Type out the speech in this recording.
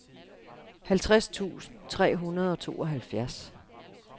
halvtreds tusind tre hundrede og tooghalvfjerds